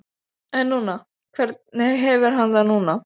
En núna, hvernig hefur hann það núna?